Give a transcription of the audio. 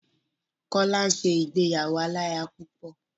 Kọ́lá ń ṣe ìgbéyàwó aláya púpọ̀.